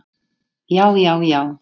já já já!